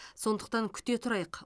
сондықтан күте тұрайық